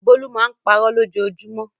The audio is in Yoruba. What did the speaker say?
Bólú máa ń parọ́ lójoojúmọ́.